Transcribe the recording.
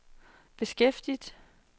beskæftiget